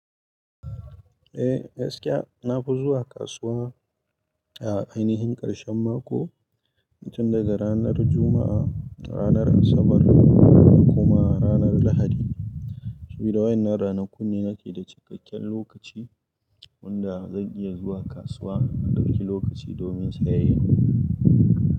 Eh gaskiya na fi zuwa kasuwa a ainihin ƙarshen mako wajen daga ranar Juma'a, ranar Asabar da kuma ranar Lahadi. Saboda waɗannan ranakun ne nake da cikakken lokaci wanda zan iya zuwa kasuwa in dauki lokaci domin sayayya.